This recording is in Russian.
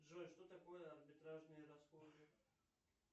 джой что такое арбитражные расходы